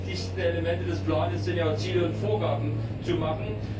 Die wichtigsten Elemente des Plans sind ja, Ziele und Vorgaben zu machen.